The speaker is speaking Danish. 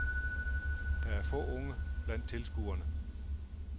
Der er få unge blandt tilskuerne.